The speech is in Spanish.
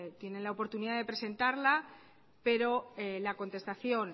tienen la oportunidad de presentarla pero la contestación